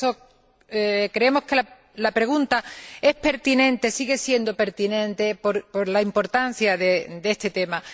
Por eso creemos que la pregunta es pertinente, sigue siendo pertinente, por la importancia de este tema.